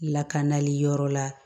Lakanali yɔrɔ la